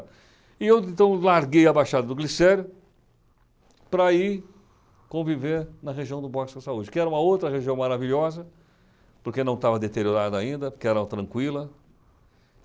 E eu, então, larguei a Baixada do Glicério para ir conviver na região do Boxa Saúde, que era uma outra região maravilhosa, porque não estava deteriorada ainda, porque era tranquila.